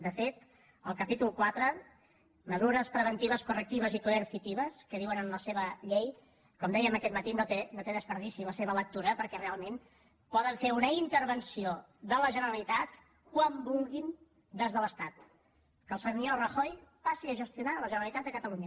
de fet el capítol quatre mesures preventivas correctivas y coercitivas que diuen en la seva llei com dèiem aquest matí no té pèrdua la seva lectura perquè realment poden fer una intervenció de la generalitat quan vulguin des de l’estat que el senyor rajoy passi a gestionar la generalitat de catalunya